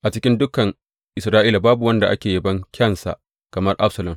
A cikin dukan Isra’ila babu wanda ake yabon kyansa kamar Absalom.